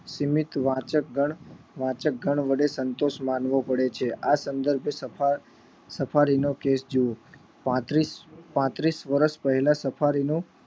સીમિત વાચક ગણ વાચક ગણ વડે સંતોષ માણવો પડે છે આ સંદર્ભે સફાર સફારી નો વેશ જુઓ પાંત્રીસ પાંત્રીસ વર્ષ પહેલા સફારી નો